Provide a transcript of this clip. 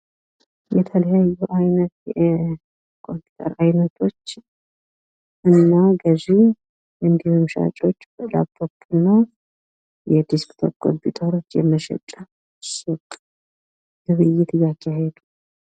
የተለያዩ አይነት የኮምፒውተር አይነቶች እና ገዥ እንዲሁም ሻጮች ላፕቶፕ እና የደስክቶፕ ኮምፒውተሮች የመሽጫ ሱቅ ግብይት እያካሄዱ ።